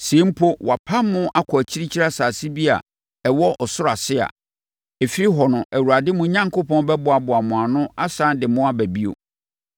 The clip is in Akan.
Sɛ mpo, wɔapam mo kɔ akyirikyiri asase bi a ɛwɔ ɔsoro ase a, ɛfiri hɔ no, Awurade, mo Onyankopɔn, bɛboaboa mo ano asane de mo aba bio.